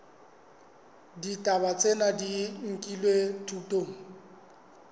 ditaba tsena di nkilwe thutong